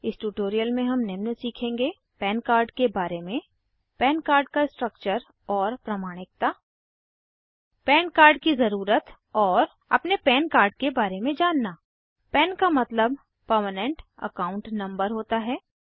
इस ट्यूटोरियल में हम निम्न सीखेंगे पन कार्ड के बारे में PAN कार्ड का स्ट्रक्चर और प्रमाणिकता पन कार्ड की जरूरत और अपने पन कार्ड के बारे में जानना पन का मतलब परमेनेंट अकाउंट नंबर होता है